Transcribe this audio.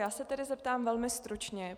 Já se tedy zeptám velmi stručně.